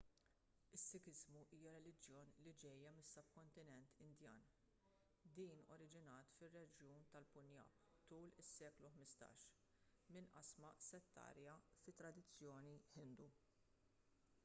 is-sikiżmu hija reliġjon li ġejja mis-subkontinent indjan din oriġinat fir-reġjun tal-punjab tul is-seklu 15 minn qasma settarja fit-tradizzjoni ħindu